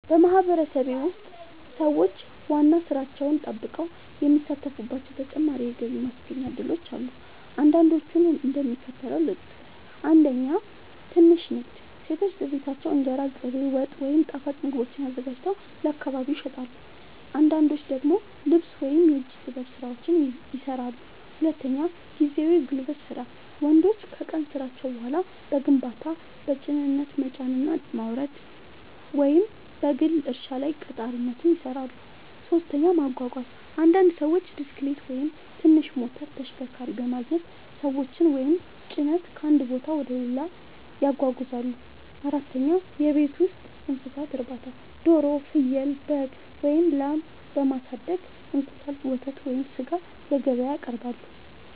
በማህበረሰቤ ውስጥ ሰዎች ዋና ሥራቸውን ጠብቀው የሚሳተፉባቸው ተጨማሪ የገቢ ማስገኛ እድሎች አሉ። አንዳንዶቹን እንደሚከተለው ልጠቅስ፦ 1. ትንሽ ንግድ – ሴቶች በቤታቸው እንጀራ፣ ቅቤ፣ ወጥ ወይም ጣፋጭ ምግቦችን አዘጋጅተው ለአካባቢ ይሸጣሉ። አንዳንዶች ደግሞ ልብስ ወይም የእጅ ጥበብ ሥራዎችን ይሠራሉ። 2. ጊዜያዊ የጉልበት ሥራ – ወንዶች ከቀን ሥራቸው በኋላ በግንባታ፣ በጭነት መጫንና ማውረድ፣ ወይም በግል እርሻ ላይ ቀጣሪነት ይሠራሉ። 3. ማጓጓዝ – አንዳንድ ሰዎች ብስክሌት ወይም ትንሽ ሞተር ተሽከርካሪ በማግኘት ሰዎችን ወይም ጭነት ከአንድ ቦታ ወደ ሌላ ያጓጉዛሉ። 4. የቤት ውስጥ እንስሳት እርባታ – ዶሮ፣ ፍየል፣ በግ ወይም ላም በማሳደግ እንቁላል፣ ወተት ወይም ሥጋ ለገበያ ያቀርባሉ።